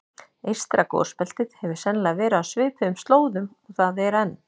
Eystra gosbeltið hefur sennilega verið á svipuðum slóðum og það er enn.